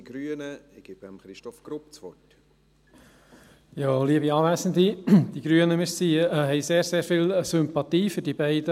Die Grünen bringen den beiden Motionen sehr viel Sympathie entgegen.